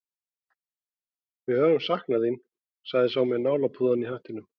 Við höfum saknað þín, sagði sá með nálapúðann í hattinum.